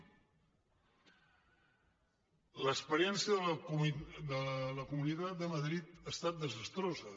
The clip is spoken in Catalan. l’experiència de la comunitat de madrid ha estat desastrosa